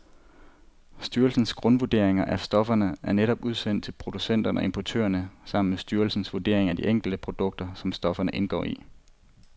Styrelsens grundvurdering af stofferne er netop udsendt til producenter og importører sammen med styrelsens vurdering af de enkelte produkter, som stofferne indgår i.